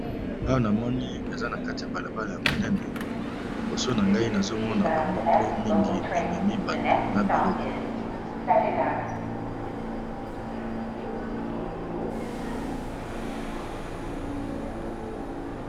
Awa namoni eza na kati ya balabala ya monene liboso na ngai nazomona bamoto mingi ememi bato na biloko.